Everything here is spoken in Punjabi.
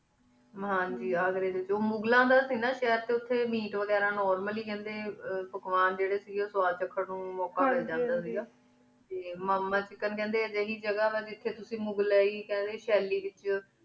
ਹਨ ਜੀ ਅਘ੍ਰੁ ਵੇਚ ਉਮ੍ਘ੍ਲਾਮਨ ਦਾ ਸੇ ਸਾਇਡ ਟੀ ਉਠੀ ਮੇਅਤ ਵਾਘਾਰਾ ਨੋਰਮਲ ਹੇ ਖੜੀ ਟੀ ਪਕਵਾਨ ਜੀਰੀ ਸੇ ਗੀ ਸਵਾਦ ਡੀ ਕਾਦੁਨ ਖਾਨ ਦਾ ਮੁਕਾ ਮਿਲ੍ਜੰਦਾ ਸੇ ਟੀ ਮਾਮਾ ਚੀਕ ਕਾਂਡੀ ਅਹਿ ਜਗਾ ਵਾ ਜਿਥਯ ਤੁਸੀਂ ਮ੍ਘ੍ਲਾਈ ਖ੍ਦ੍ਯਨ ਸ਼ਾਲੀ ਵੇਚ